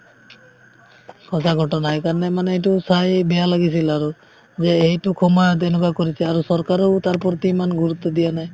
সঁচা কথা কাৰণে মানে এইটো চাই বেয়া লাগিছিল আৰু যে এইটো সময়ত এনেকুৱা কৰিছে আৰু চৰকাৰেও তাৰ প্ৰতি ইমান গুৰুত্ৱ দিয়া নাই